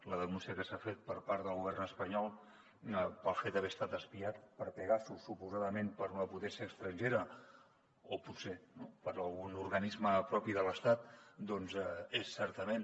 la denúncia que s’ha fet per part del govern espanyol pel fet d’haver estat espiat per pegasus suposadament per una potència estrangera o potser no per algun organisme propi de l’estat doncs és certament